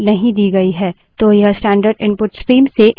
तो यह standard input stream से input लेगा